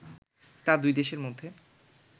তা দুই দেশের মধ্যে